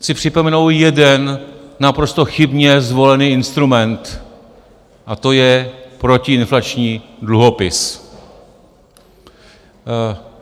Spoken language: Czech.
Chci připomenout jeden naprosto chybně zvolený instrument, a to je protiinflační dluhopis.